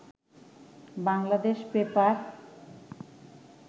Bangladesh paper